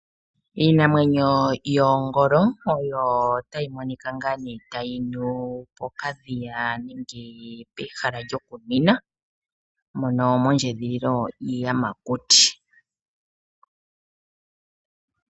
Iinamwenyo yoongolo otayi monika tayi nu pokadhiya nenge pehala lyokuninwa mondjedhililo yiiyamakuti.